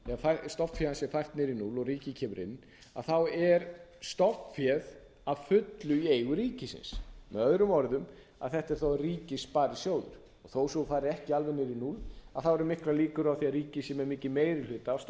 stofnfé sparisjóðs sé fært niður í núll og ríkið kemur inn að þá er stofnféð að fullu í eigu ríkisins möo að þetta er þá ríkissparisjóður þó svo að það fari ekki alveg niður í núll eru miklar líkur á því að ríkið sé með mikinn meiri hluta af